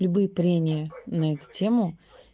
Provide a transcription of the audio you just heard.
любое трение на эту тему